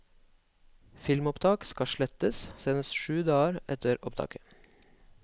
Filmopptak skal slettes senest syv dager etter opptaket.